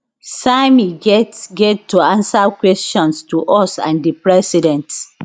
sammy get get to answer questions to us and di president